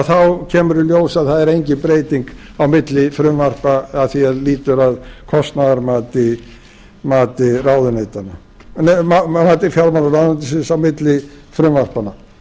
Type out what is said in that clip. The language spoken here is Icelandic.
þá kemur í ljós að það er engin breyting á milli frumvarpa að því er lýtur að kostnaðarmati fjármálaráðuneytisins á milli frumvarpanna